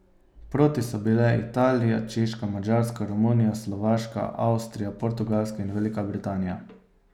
Proti so bile Italija, Češka, Madžarska, Romunija, Slovaška, Avstrija, Portugalska in Velika Britanija.